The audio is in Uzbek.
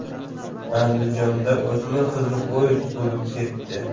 Andijonda o‘smir qizni poyezd urib ketdi.